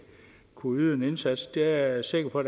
kunne yde en indsats det er jeg sikker på